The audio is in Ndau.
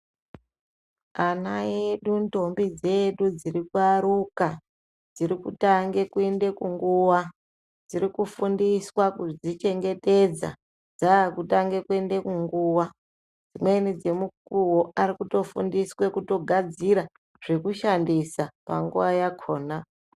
Ana edu ndombi dzedu dziri kuaruka dziri kutange kuende kunguwa dziri kufundiswa kudzichengetedza dzakutange kuende kunguwa dzimweni dzemukuwo ari kutofundiswe kugadzira zvekushandisa panguwa yakona.